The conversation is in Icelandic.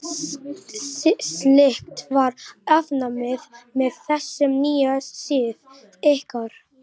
Slíkt var afnumið með þessum nýja sið ykkar.